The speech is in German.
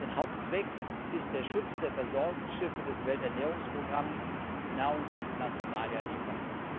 Denn Hauptzweck ist der Schutz der Versorgungsschiffe des Welternährungsprogramms, die Nahrungsmittel nach Somalia liefern.